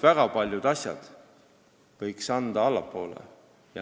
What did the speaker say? Väga paljud asjad võiks anda n-ö allapoole.